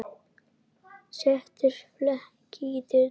Settur fleki í dyrnar.